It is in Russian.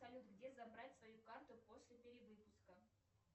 салют где забрать свою карту после перевыпуска